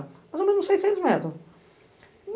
Mais ou menos uns seiscentos metros.